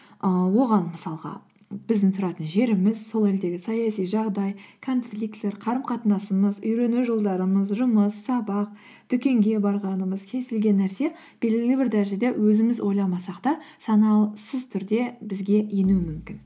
ыыы оған мысалға біздің тұратын жеріміз сол елдегі саяси жағдай конфликтілер қарым қатынасымыз үйрену жолдарымыз жұмыс сабақ дүкенге барғанымыз кез келген нәрсе белгілі бір дәрежеде өзіміз ойламасақ та түрде бізге енуі мүмкін